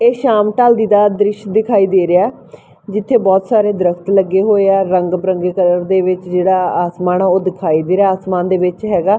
ਇਹ ਸ਼ਾਮ ਢੱਲਦੀ ਦਾ ਦ੍ਰਿਸ਼ ਦਿਖਾਈ ਦੇ ਰਿਹਾ ਜਿੱਥੇ ਬਹੁਤ ਸਾਰੇ ਦਰੱਖਤ ਲੱਗੇ ਹੋਏ ਆ ਰੰਗ ਬਿਰੰਗੇ ਕਲਰ ਦੇ ਵਿੱਚ ਜਿਹੜਾ ਆਸਮਾਨ ਉਹ ਦਿਖਾਈ ਦੇ ਰਿਹਾ ਆਸਮਾਨ ਦੇ ਵਿੱਚ ਹੈਗਾ।